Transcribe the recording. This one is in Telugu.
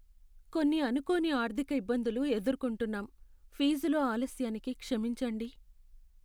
కొన్ని అనుకోని ఆర్ధిక ఇబ్బందులు ఎదుర్కొంటున్నాం, ఫీజులో ఆలస్యానికి క్షమించండి.